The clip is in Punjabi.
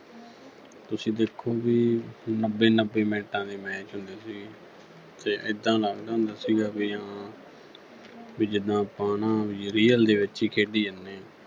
ਤੁਸੀਂ ਦੇਖੋਗੇ ਵੀ ਨੱਬੇ-ਨੱਬੇ mints ਦੇ match ਹੁੰਦੇ ਸੀਗੇ ਤੇ ਐਦਾਂ ਲਗਦਾ ਹੁੰਦਾ ਸੀਗਾ ਵੀ ਹਾਂ ਵੀ ਜਿਦਾਂ ਆਪਾਂ ਨਾ ਵੀ real ਦੇ ਵਿੱਚ ਹੀ ਖੇਡੀ ਜਾਨੇ ਆ।